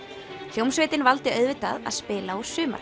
hljómsveitin valdi auðvitað að spila úr